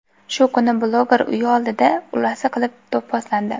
Shu kuni bloger uyi oldida o‘lasi qilib do‘pposlandi.